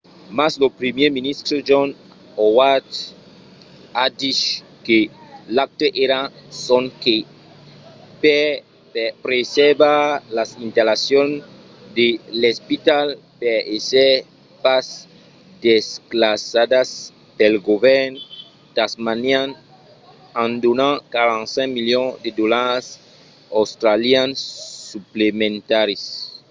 mas lo primièr ministre john howard a dich que l'acte èra sonque per preservar las installacions de l'espital per èsser pas desclassadas pel govèrn tasmanian en donant 45 milions de dolars australians suplementaris